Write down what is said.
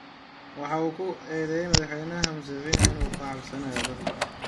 Waxa uu ku eedeeyay Madaxweyne Muuseveni in uu ka cabsanayo dadka.